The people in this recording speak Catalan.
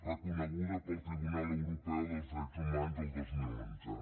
reconeguda pel tribunal europeu de drets humans el dos mil onze